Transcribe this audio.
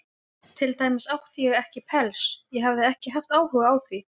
Til dæmis átti ég ekki pels, og hafði ekki haft áhuga á því.